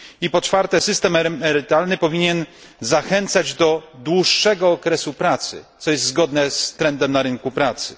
Po czwarte, system emerytalny powinien zachęcać do dłuższego okresu pracy, co jest zgodne z trendem na rynku pracy.